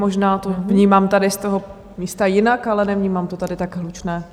Možná to vnímám tady z toho místa jinak, ale nevnímám to tady tak hlučné.